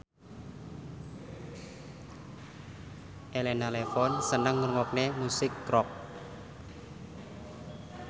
Elena Levon seneng ngrungokne musik rock